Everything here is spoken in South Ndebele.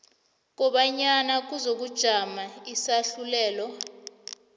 kobanyana kuzokujama isahlulelo